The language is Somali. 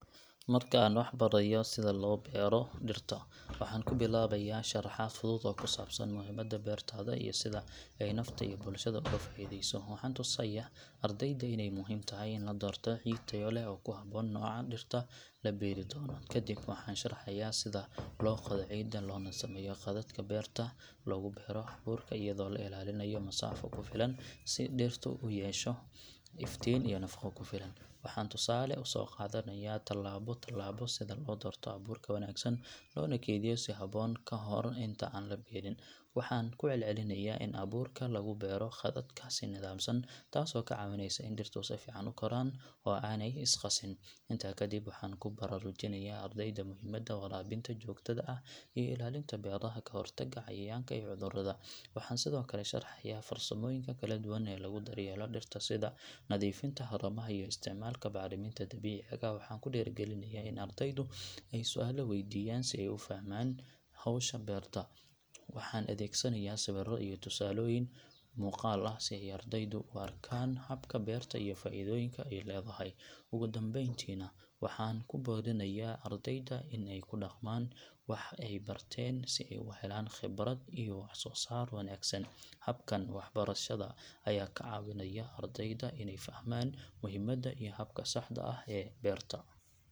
Marka aan waxbarayo sida loo beero dhirta, waxaan ku bilaabayaa sharaxaad fudud oo ku saabsan muhiimadda beertada iyo sida ay nafta iyo bulshada uga faa’iideyso. Waxaan tusayaa ardayda inay muhiim tahay in la doorto ciid tayo leh oo ku habboon nooca dhirta la beeri doono. Kadib waxaan sharxayaa sida loo qodo ciidda, loona sameeyo khadadka beerta lagu beero abuurka iyadoo la ilaalinayo masaafo ku filan si dhirtu u hesho iftiin iyo nafaqo ku filan. Waxaan tusaale u soo qaadanayaa tallaabo tallaabo sida loo doorto abuurka wanaagsan, loona kaydiyo si habboon ka hor inta aan la beerin. Waxaan ku celcelinayaa in abuurka lagu beero khadadka si nidaamsan, taasoo ka caawinaysa in dhirtu si fiican u koraan oo aanay is qasin. Intaa kadib, waxaan ku baraarujinayaa ardayda muhiimadda waraabinta joogtada ah iyo ilaalinta beeraha ka hortagga cayayaanka iyo cudurada. Waxaan sidoo kale sharaxaa farsamooyinka kala duwan ee lagu daryeelo dhirta sida nadiifinta haramaha iyo isticmaalka bacriminta dabiiciga ah. Waxaan ku dhiirrigelinayaa in ardaydu ay su’aalo weydiiyaan si ay u fahmaan hawsha beerta. Waxaan adeegsanayaa sawirro iyo tusaalooyin muuqaal ah si ay ardaydu u arkaan habka beerta iyo faa’iidooyinka ay leedahay. Ugu dambeyntiina, waxaan ku boorinayaa ardayda inay ku dhaqmaan waxa ay barteen si ay u helaan khibrad iyo wax soo saar wanaagsan. Habkan waxbarashada ayaa ka caawinaya ardayda inay fahmaan muhiimadda iyo habka saxda ah ee beerta.